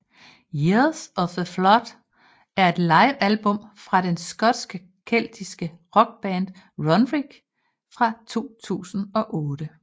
Year of the Flood er et livealbum fra den skotske keltiske rockband Runrig fra 2008